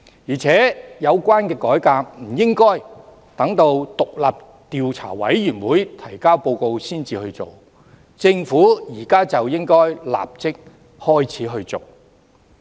而且，有關改革不應該等到委員會提交報告後才進行，政府現時便應該立即開始展開工作。